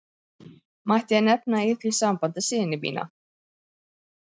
Mætti ég nefna í því sambandi syni mína.